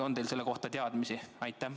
On teil selle kohta teadmisi?